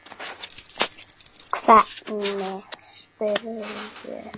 Láttu það flakka.